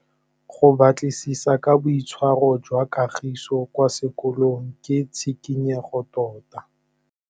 Go batlisisa ka boitshwaro jwa Kagiso kwa sekolong ke tshikinyêgô tota.